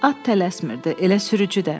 At tələsmirdi, elə sürücü də.